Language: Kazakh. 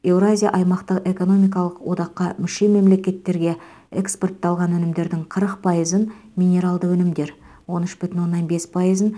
еуразия аймақтық экономикалық одаққа мүше мемлекеттерге экспортталған өнімдердің қырық пайызын минералды өнімдер он үш бүтін оннан бес пайызын